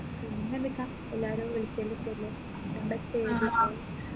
പിന്നെന്തൊക്കെയാ എല്ലാരെ വിളിക്കൊലോക്കെ അല്ലെ പിന്നെന്താ ചെയ്യൽ അല്ലെ